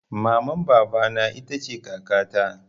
Maman baba na ita ce kaka ta